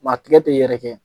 Ma tigɛ te yɛrɛkɛ.